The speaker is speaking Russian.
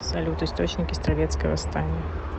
салют источники стрелецкое восстание